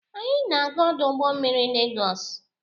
Anyị na-aga ọdụ ụgbọ mmiri Legosu